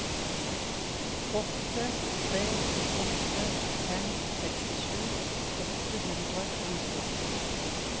åtte tre åtte fem sekstisju åtte hundre og nittiåtte